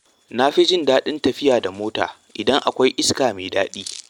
Na fi jin daɗin tafiya da mota idan akwai iska mai daɗi.